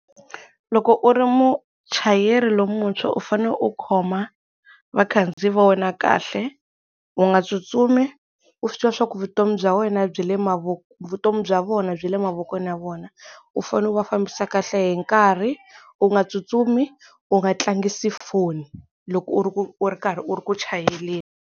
Loko u ri muchayeri lomuntshwa u fanele u khoma vakhandziyi va wena kahle u nga tsutsumi u swi tiva swa ku vutomi bya wena byi le vutomi bya vona byi le mavokweni ya vona, u fane u va fambisa kahle hi nkarhi, u nga tsutsumi, u nga tlangisi foni loko u ri ku u ri karhi u ri ku chayeleni.